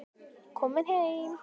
Komin heim?